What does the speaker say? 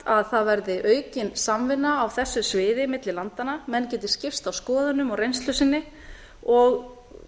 að það verði aukin samvinna á þessu sviði milli landanna menn geti skipst á skoðunum og reynslu sinni og